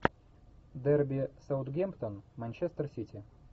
дерби саутгемптон манчестер сити